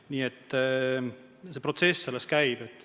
Nii et see protsess alles käib.